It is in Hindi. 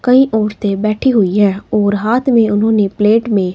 कई औरते बैठी हुई है और हाथ में उन्होंने प्लेट में--